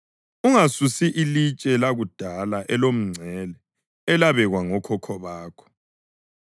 Ungasusi ilitshe lakudala elomngcele elabekwa ngokhokho bakho.